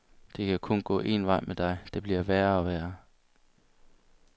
Det kan kun gå en vej med dig, det bliver værre og værre.